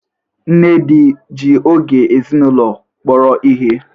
Nnedi ji oge ezinụlọ kpọrọ ihe?